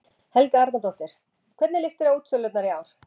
Helga Arnardóttir: Hvernig líst þér á útsölurnar í ár?